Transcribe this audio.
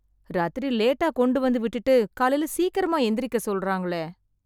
ராத்திரி லேட்டா கொண்டுவந்து விட்டுட்டு, காலைல சீக்கிரமா எந்திரிக்க சொல்றாங்களே...